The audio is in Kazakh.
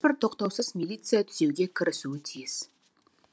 бір тоқтаусыз милиция түзеуге кірісуі тиіс